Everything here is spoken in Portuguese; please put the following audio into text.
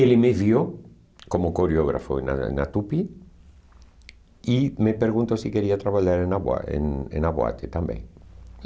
Ele me viu como coreógrafo em na na Tupi e me perguntou se queria trabalhar em na boa em em na Boate também.